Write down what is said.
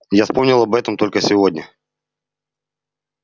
я вспомнил об этом только сегодня